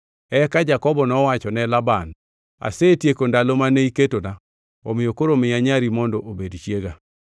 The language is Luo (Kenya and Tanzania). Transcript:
Eka Jakobo nowacho ne Laban, “Asetieko ndalo mane iketona, omiyo koro miya nyari mondo obed chiega.”